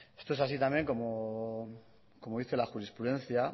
estos es así también como dice la jurisprudencia